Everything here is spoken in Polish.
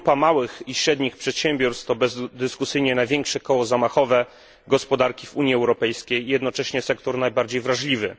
Grupa małych i średnich przedsiębiorstw to bezdyskusyjnie największe koło zamachowe gospodarki w Unii Europejskiej i jednocześnie sektor najbardziej wrażliwy.